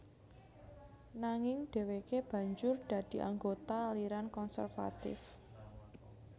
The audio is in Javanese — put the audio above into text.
Nanging dhèwèké banjur dadi anggota aliran konservatif